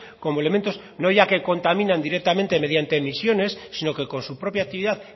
como elementos no ya que contaminan directamente mediante emisiones sino que con su propia actividad